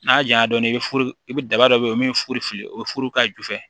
N'a jaɲa dɔɔnin i bɛ furu i bɛ daba dɔ bɛ ye min ye furu fili o ye furu ka jufɛ